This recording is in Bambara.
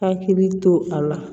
Hakili to a la